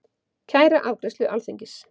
Kæra afgreiðslu Alþingis